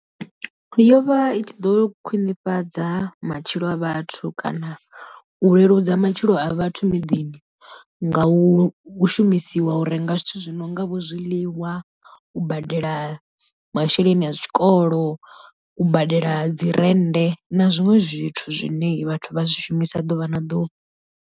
Yo vha i tshi ḓo khwinifhadza matshilo a vhathu kana u leludza matshilo a vhathu miḓini nga u shumisiwa u renga zwithu zwino nga vho zwiḽiwa, u badela masheleni a zwikolo, u badela dzi rennde na zwiṅwe zwithu zwine vhathu vha zwi shumisa ḓuvha na ḓuvha.